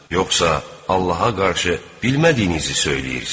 Yoxsa Allaha qarşı bilmədiyinizi söyləyirsiz?